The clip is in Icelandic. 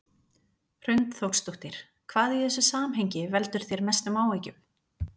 Hrund Þórsdóttir: Hvað í þessu samhengi veldur þér mestum áhyggjum?